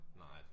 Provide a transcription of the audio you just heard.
Nej